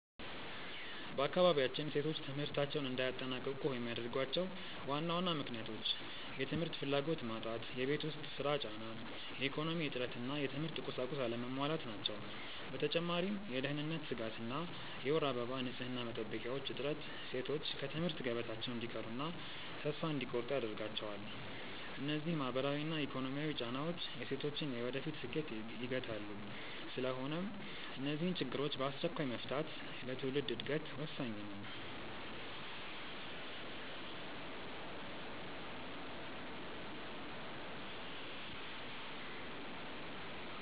በአካባቢያችን ሴቶች ትምህርታቸውን እንዳያጠናቅቁ የሚያደርጓቸው ዋና ዋና ምክንያቶች፦ የ ትምህርት ፍላጎት መጣት የቤት ውስጥ ሥራ ጫና፣ የኢኮኖሚ እጥረት እና የትምህርት ቁሳቁስ አለመሟላት ናቸው። በተጨማሪም የደህንነት ስጋት እና የወር አበባ ንፅህና መጠበቂያዎች እጥረት ሴቶች ከትምህርት ገበታቸው እንዲቀሩና ተስፋ እንዲቆርጡ ያደርጋቸዋል። እነዚህ ማህበራዊና ኢኮኖሚያዊ ጫናዎች የሴቶችን የወደፊት ስኬት ይገታሉ። ስለሆነም እነዚህን ችግሮች በአስቸኳይ መፍታት ለትውልድ ዕድገት ወሳኝ ነው።